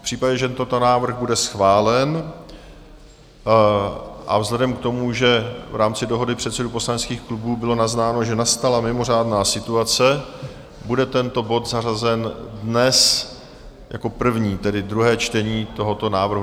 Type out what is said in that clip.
V případě, že tento návrh bude schválen, a vzhledem k tomu, že v rámci dohody předsedů poslaneckých klubů bylo naznáno, že nastala mimořádná situace, bude tento bod zařazen dnes jako první, tedy druhé čtení tohoto návrhu.